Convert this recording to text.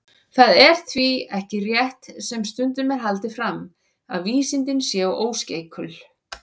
Það er því ekki rétt, sem stundum er haldið fram, að vísindin séu óskeikul.